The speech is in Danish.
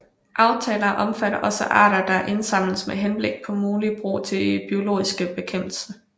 Aftaler omfatter også arter der indsamles med henblik på muligt brug til biologisk bekæmpelse